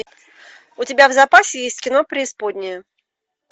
у тебя в запасе есть кино преисподняя